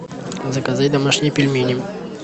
заказать домашние пельмени